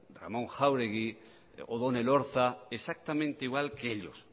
ramón jáuregui odón elorza exactamente igual que ellos